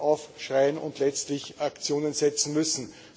aufschreien und letztlich Aktionen setzen müssen.